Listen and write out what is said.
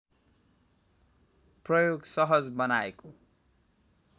प्रयोग सहज बनाएको